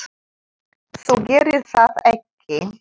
Þú gerir það ekki!